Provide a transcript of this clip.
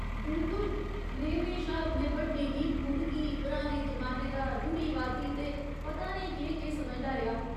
बिलकुल ! में म्हेशा अपने बड्डें गी खुंधकी, पराने जमाने दा, रूढ़ीवादी ते पता नेईं केह् केह् समझदा रेहा।